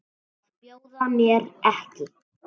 Að bjóða mér ekki.